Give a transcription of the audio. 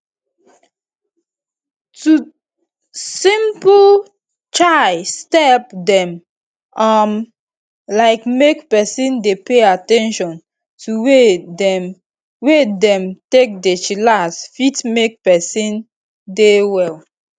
simple chai step dem um like make peson dey pay at ten tion to way dem wey dem take dey chillax fit make peson dey well